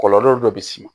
Kɔlɔlɔ dɔ bɛ s'i ma